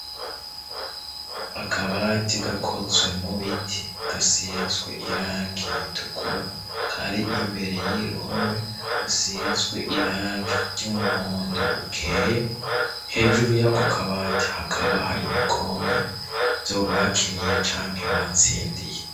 Akabati gakozwe mu biti gasizwe irangi ritukura kari imbere yuruhome rusizwe irangi ry'umuhondo ukeye, hejuru yako kabati hakaba hari ibikombe vyo bakiniye canke batsindiye.